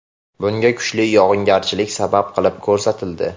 Bunga kuchli yog‘ingarchilik sabab qilib ko‘rsatildi.